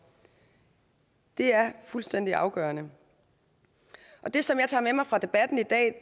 det er fuldstændig afgørende det som jeg tager med mig fra debatten i dag